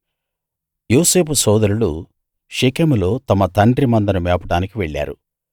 యోసేపు సోదరులు షెకెములో తమ తండ్రి మందను మేపడానికి వెళ్ళారు